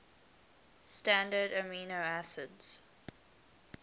standard amino acids